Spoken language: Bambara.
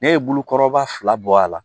Ne ye bulukɔrɔba fila bɔ a la